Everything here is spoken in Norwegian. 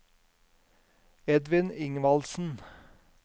Edvin Ingvaldsen